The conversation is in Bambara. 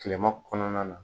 Kileman kɔnɔna na.